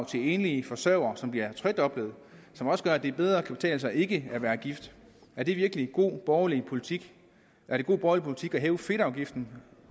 til enlige forsørgere så det bliver tredoblet som også gør at det bedre kan betale sig ikke at være gift er det virkelig god borgerlig politik er det god borgerlig politik at hæve fedtafgiften